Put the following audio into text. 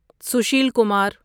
Sushil Kumar